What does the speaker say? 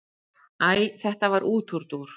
Æ þetta var útúrdúr.